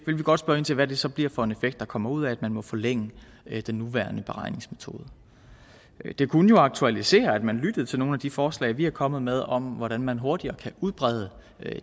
vil vi godt spørge ind til hvad det så bliver for en effekt der kommer ud af at man må forlænge den nuværende beregningsmetode det kunne jo aktualisere at man lyttede til nogle af de forslag vi kommet med om hvordan man hurtigere kan udbrede